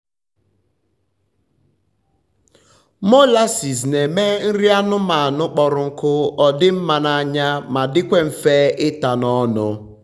molases na eme nri anụmanụ kpọrọ nkụ odi mma na anya ma dikwa nfe ita n’ ọnụ